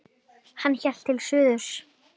Hann hélt til suðurs.